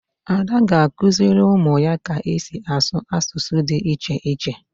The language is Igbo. Ada ga-akụziri ụmụ ya ka esi asụ asụsụ dị iche iche.